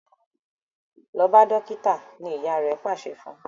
lọ bá dókítà! ní ìyá rè pàṣẹ fún.